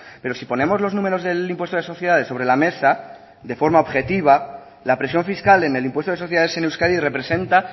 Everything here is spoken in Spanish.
pero si ponemos los números del impuesto de sociedades sobre la mesa de forma objetiva la presión fiscal en el impuesto de sociedades en euskadi representa